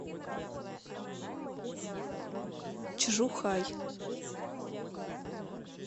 чжухай